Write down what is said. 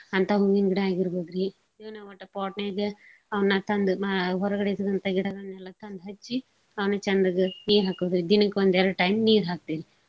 ಅಂತಾ ಹೂವಿನ್ ಗಿಡಾ ಆಗಿರ್ಬೋದ್ರಿ pot ನ್ಯಾಗ ಅವ್ನ ತಂದ್ ಮಾ~ ಹೊರ್ಗಡೆ ಗಿಡಗಳ್ನೆಲ್ಲಾ ತಂದ್ ಹಚ್ಚಿ ಚಂದಗ ನೀರ್ಹಾಕೋದ್ರಿ. ದಿನಕ್ ಒಂದೆರ್ಡ್ time ನೀರ್ಹಾಕ್ತೇವಿ.